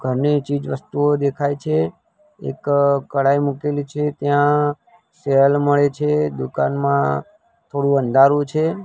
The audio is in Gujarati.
ઘરની ચીજ વસ્તુઓ દેખાય છે એક કડાઈ મૂકેલી છે ત્યાં સેલ મળે છે દુકાનમાં થોડું અંધારું છે.